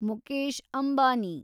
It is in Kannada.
ಮುಕೇಶ್ ಅಂಬಾನಿ